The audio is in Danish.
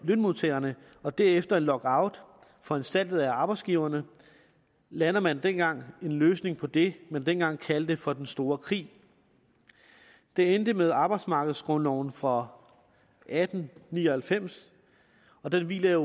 lønmodtagerne og derefter en lockout foranstaltet af arbejdsgiverne landede man dengang en løsning på det man dengang kaldte for den store krig det endte med arbejdsmarkedsgrundloven fra atten ni og halvfems den hviler